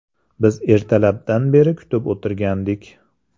Biz ertalabdan beri kutib o‘tirgandik.